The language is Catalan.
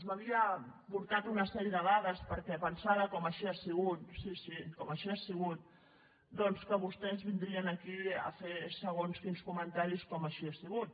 m’havia portat una sèrie de dades perquè pensava com així ha sigut sí sí com així ha sigut que vostès vindrien aquí a fer segons quins comentaris com així ha sigut